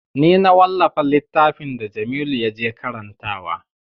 Ni na wallafa littafin da jamilu ya je karantawa